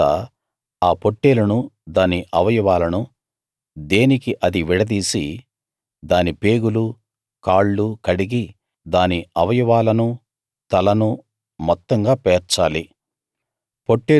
తరువాత ఆ పొట్టేలును దాని అవయవాలను దేనికి అది విడదీసి దాని పేగులు కాళ్ళు కడిగి దాని అవయవాలను తలను మొత్తంగా పేర్చాలి